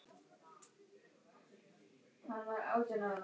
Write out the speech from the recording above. Þjóðarflokkurinn að borðinu?